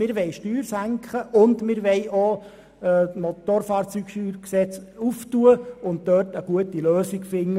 wir wollen die Steuern senken, und wir wollen auch das BSFG zur Diskussion stellen und eine gute Lösung finden.